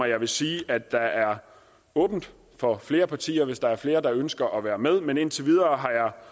jeg vil sige at der er åbent for flere partier hvis der er flere partier der ønsker at være med men indtil videre